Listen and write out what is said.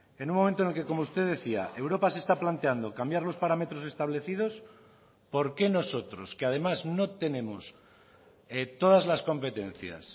en un momento en el que como usted decía europa se está planteando cambiar los parámetros establecidos por qué nosotros que además no tenemos todas las competencias